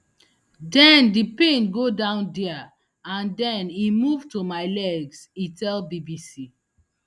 den di pain go down dia and den e move to my legs e tell bbc